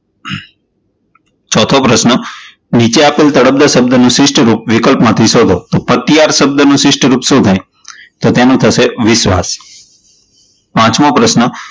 ચોથો પ્રશ્ન, નીચે આપેલ તળપદા શબ્દનું શિસ્ટ રૂપ વિકલ્પ માંથી સોધો, તો અતિહાર શબ્દનું શિષ્ટ રૂપ શું થાય? તો તેનું થશે વિશ્વાસ પાંચમો પ્રશ્ન,